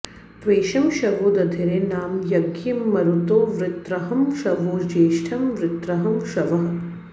त्वेषं शवो दधिरे नाम यज्ञियं मरुतो वृत्रहं शवो ज्येष्ठं वृत्रहं शवः